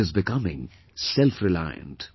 It is becoming self reliant